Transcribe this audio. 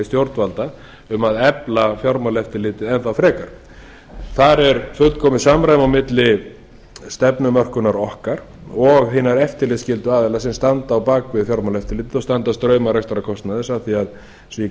stjórnvalda um að efla fjármáleftirlitið enn þá frekar þar er fullkomið samræmi á milli stefnumörkunar okkar og hinna eftirlitsskyldu aðila sem standa á bak við fjármálaeftirlitið og standa straum af rekstrarkostnaði eins og ég